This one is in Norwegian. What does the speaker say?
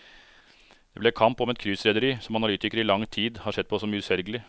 Det ble kamp om et cruiserederi som analytikere i lang tid har sett på som uselgelig.